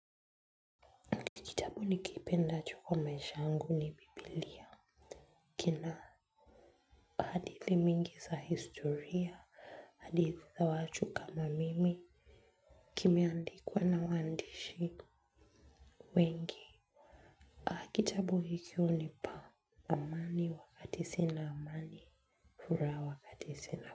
Kitabu nikipenda juu kwa maisha wangu ni biblia. Kina hadithi mingi za historia, hadithi za za watu kama mimi, kimeandikwa na waandishi wengi. Ha kitabu hiko hunipa amani wakati sina amani, furaha wakati sina amani.